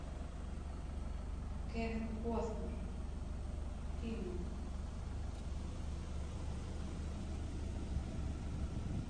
кевин костнер фильмы